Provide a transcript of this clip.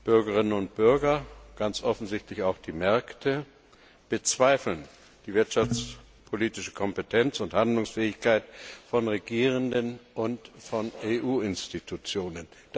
Bürgerinnen und Bürger und ganz offensichtlich auch die Märkte bezweifeln die wirtschaftspolitische Kompetenz und Handlungsfähigkeit von Regierenden und von EU Institutionen.